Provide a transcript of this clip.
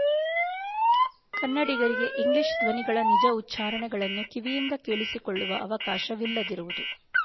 ಕನ್ನಡಿಗರಿಗೆ ಇಂಗ್ಲೀಷ್ ಧ್ವನಿಗಳ ನಿಜ ಉಚ್ಚಾರಣೆಗಳನ್ನು ಕಿವಿಯಿಂದ ಕೇಳಸಿಕೊಳ್ಳುವ ಅವಕಾಶವಿಲ್ಲದಿರುವುದು